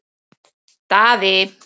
Daði